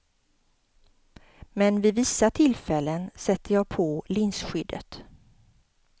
Men vid vissa tillfällen sätter jag på linsskyddet.